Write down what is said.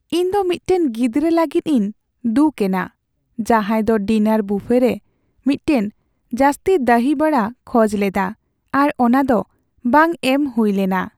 ᱤᱧ ᱫᱚ ᱢᱤᱫᱴᱟᱝ ᱜᱤᱫᱽᱨᱟᱹ ᱞᱟᱹᱜᱤᱫ ᱤᱧ ᱫᱩᱠ ᱮᱱᱟ ᱡᱟᱦᱟᱸᱭ ᱫᱚ ᱰᱤᱱᱟᱨ ᱵᱩᱯᱷᱮ ᱨᱮ ᱢᱤᱫᱴᱟᱝ ᱡᱟᱹᱥᱛᱤ ᱫᱟᱦᱤ ᱵᱷᱟᱲᱟ ᱠᱷᱚᱡ ᱞᱮᱫᱟ ᱟᱨ ᱚᱱᱟ ᱫᱚ ᱵᱟᱝ ᱮᱢ ᱦᱩᱭ ᱞᱮᱱᱟ ᱾